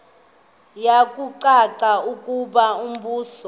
kuyacaca ukuba umbuso